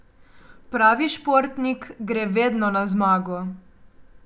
Pravi športnik gre vedno na zmago.